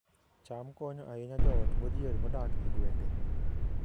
cham konyo ahinya joot modhier modak e gwenge